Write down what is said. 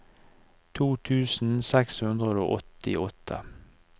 to tusen seks hundre og åttiåtte